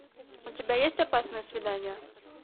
у тебя есть опасное свидание